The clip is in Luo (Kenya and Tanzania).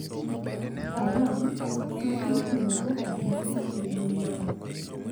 Salam, ma itiyogo ahinya e dho nam